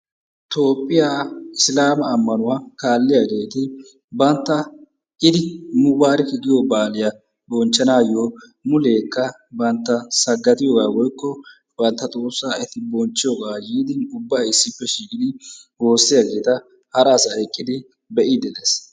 Tophphiya isilaama ammanuwa kalliyageeti bantta id mubarik giyo baaliya muleekka bantta saggadiyogaa woykko bantta xoossaa eti bonchchiyosaa yiidi ubbay issippe woossiyageeta hara asay eqqidi be'iiddi des.